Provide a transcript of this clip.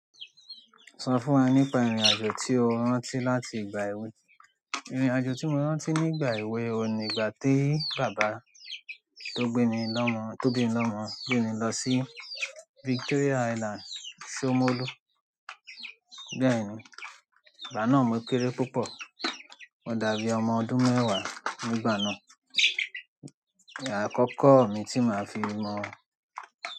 Sọ fún wa nípa ìrìn-àjò tí o rántí láti ìgbà èwe. Ìrìn-àjò tí mo rántí nígbà èwe ni ìgbà tí bàbá tó gbé mi lọ́mọ, tó bimi mi lọ́mọ gbé mi lọ sí Victoria Island Somolu. Bẹ́ẹ̀ni ìgbà náà mo kéré púpọ̀. Mo dàbí ọmọ ọdún mẹ́wàá nígbà náà. Ìgbà àkọ́kọ́ mi tí màá fi mọ̀ ọ.